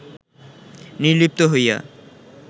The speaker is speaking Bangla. নির্লিপ্ত হইয়া